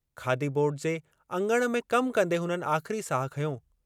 खादी board जे अङण में कम कंदे हुननि आख़िरी साहु खंयो।